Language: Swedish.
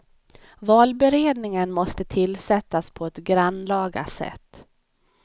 Valberedningen måste tillsättas på ett grannlaga sätt.